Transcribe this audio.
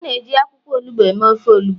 a na-eji akwukwo onugbu eme ofe onugbu